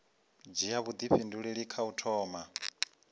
dzhia vhuifhinduleli kha u thoma